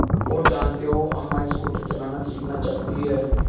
और जानते हो अम्मा स्कूटर चलाना सीखना चाहती हैं